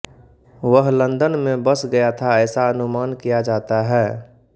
वह लंदन में बस गया था ऐसा अनुमान किया जाता है